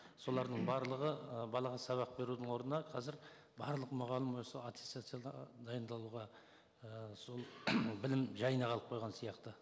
солардың барлығы ы балаға сабақ берудің орнына қазір барлық мұғалім осы аттестацияға дайындалуға ііі сол білім жайына қалып қойған сияқты